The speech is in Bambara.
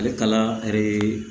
Ale kala